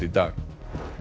í dag